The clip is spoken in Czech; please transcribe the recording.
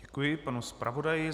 Děkuji panu zpravodaji.